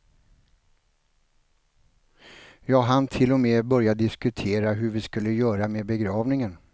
Jag hann till och med börja diskutera hur vi skulle göra med begravningen.